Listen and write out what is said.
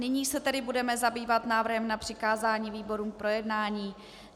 Nyní se tedy budeme zabývat návrhem na přikázání výborům k projednání.